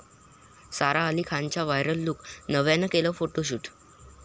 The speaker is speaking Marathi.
सारा अली खानचा व्हायरल लुक, नव्यानं केलं फोटोशूट